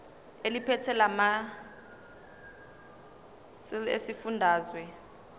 eliphethe lamarcl esifundazwe